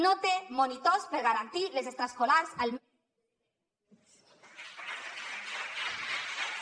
no té monitors per garantir les extraescolars al mes de setembre